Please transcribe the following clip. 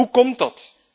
Hoe komt dat?